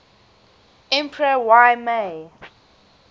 emperor y mei